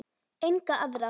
Enga aðra.